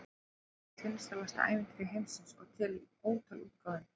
Það er eitt vinsælasta ævintýri heimsins og til í ótal útgáfum.